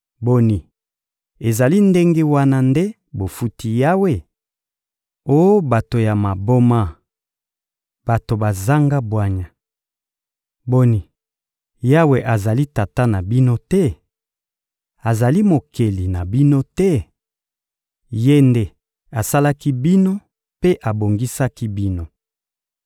Boni, ezali ndenge wana nde bofuti Yawe? Oh bato ya maboma, bato bazanga bwanya! Boni, Yawe azali Tata na bino te? Azali Mokeli na bino te? Ye nde asalaki bino mpe abongisaki bino.